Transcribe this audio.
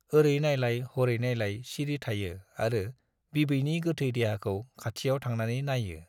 औरै नाइलाय हरै नाइलाय सिरि थायो आरो बिबैनि गोथै देहाखौ खाथियाव थांनानै नाइयो।